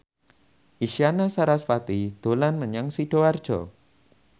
Isyana Sarasvati dolan menyang Sidoarjo